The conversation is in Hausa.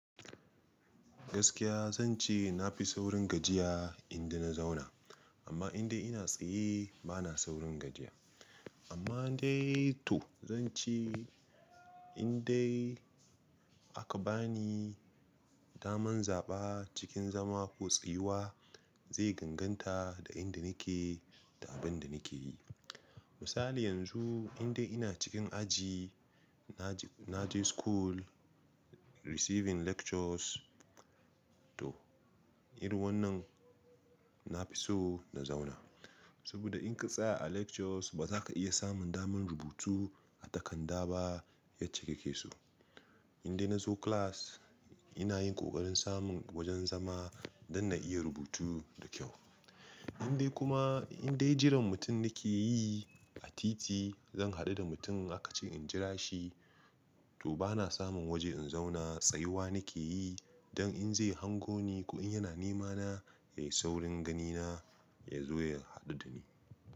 Gaskiya zan ce na fi saurin gajiya inda na zauna, amma in dai ina tsaye bana saurin gajiya. Amma dai to zan ce indai aka bani daman zaɓa cikin zama ko tsayuwa zai ganganta da inda nake da abin da nake yi. Misali yanzu inda ina cikin aji na je school receiving lectures to irin wannan na fi so na zauna. Saboda in ka tsaya a lectures ba za ka iya samun damar rubutu a takarda ba yace yake so. Inda na zo class ina yin ƙoƙarin samun wajen zama don na iya rubutu da kyau. Inda kuma indai jiran mutum nake yi a titi zan haɗu da mutum aka ce in jira shi to bana samun waje in zauna tsayuwa nake yi don in zai hango ni ko in yana nema na ya yi saurin gani na ya zo ya haɗu da ni.